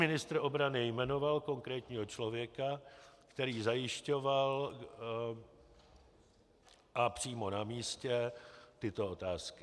Ministr obrany jmenoval konkrétního člověka, který zajišťoval, a přímo na místě, tyto otázky.